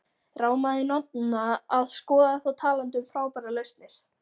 Rámaði í Nonna að skoða þá talandi um frábærar lausnir.